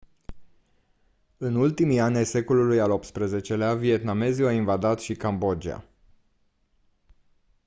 în ultimii ani ai secolului al xviii-lea vietnamezii au invadat și cambodgia